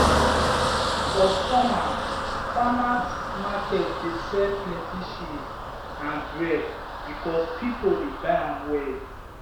for summer farmers market dey sell plenty cheese and bread because people dey buy am well.